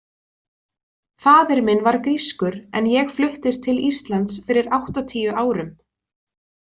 Faðir minn var grískur en ég fluttist til Íslands fyrir áttatíu árum.